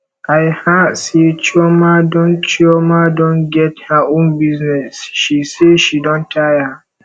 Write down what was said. i her say chioma don chioma don get her own business she say she don tire